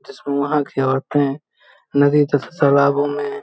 जिसमे वहाँ के औरते नदी तथा तालाबों में --